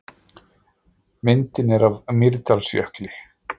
Myndin er af Mýrdalsjökli.